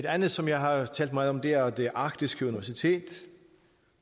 andet som jeg har talt meget om er det arktiske universitet